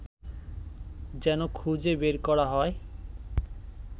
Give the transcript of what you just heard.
যেন খুজে বের করা হয়